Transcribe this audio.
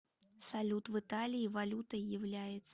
салют в италии валютой является